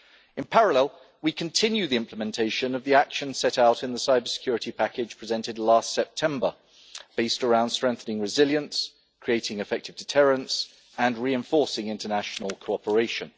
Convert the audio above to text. In parallel, we are continue the implementation of the action set out in the cybersecurity package presented last September, based around strengthening resilience, creating effective deterrents and reinforcing international cooperation.